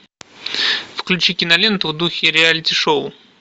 включи киноленту в духе реалити шоу